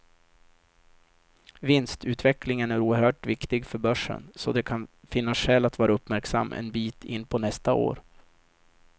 Vinstutvecklingen är oerhört viktig för börsen, så det kan finnas skäl att vara uppmärksam en bit in på nästa år.